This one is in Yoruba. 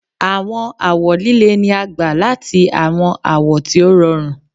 Àwọn awọ líle ni a gbà láti àwọn awọ tí ó rọrùn